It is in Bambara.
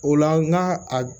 O la n'a a